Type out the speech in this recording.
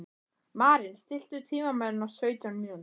Maren, stilltu tímamælinn á sautján mínútur.